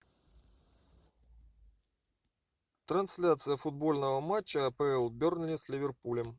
трансляция футбольного матча апл бернли с ливерпулем